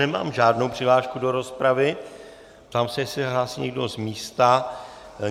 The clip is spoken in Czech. Nemám žádnou přihlášku do rozpravy, ptám se, jestli se hlásí někdo z místa.